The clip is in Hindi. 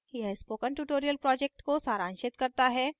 यह spoken tutorial project को सारांशित करता है